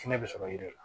Sinɛ bɛ sɔrɔ yen de la